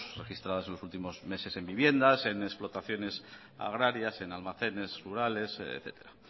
registradas en los últimos meses en viviendas en explotaciones agrarias en almacenes rurales etcétera